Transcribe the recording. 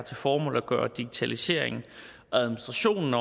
til formål at gøre digitaliseringen og administrationen